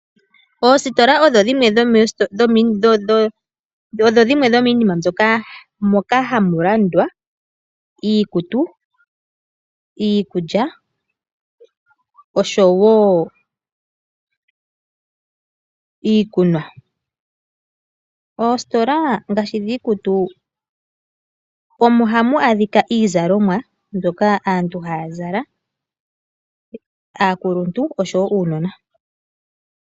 Ositola odho dhimwe dho miinima moka hamu landwa iikutu, iikulya osho woo iikunwa. Oositola ngaashi dhii kutu omo hamu adhika ii zalomwa mbyoka aantu haya zala aakuluntu osho woo uunona.